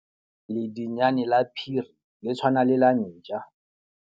Ledinyane la phiri le tshwana le la ntja.